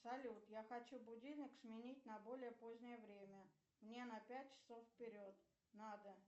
салют я хочу будильник сменить на более позднее время мне на пять часов вперед надо